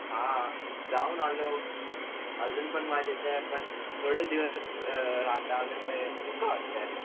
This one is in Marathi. हा जाऊन आलो अजून पण माझे थोडे राहता आल्यामुळे दुःख वाटतंय